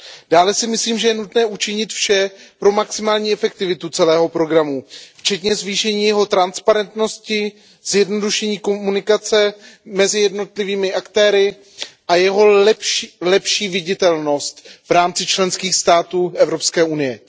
Dále si myslím, že je nutné učinit vše pro maximální efektivitu celého programu, včetně zvýšení jeho transparentnosti, zjednodušení komunikace mezi jednotlivými aktéry a jeho lepší viditelnost v rámci členských států Evropské unie.